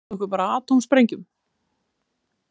Þeir hóta okkur bara atómsprengjum.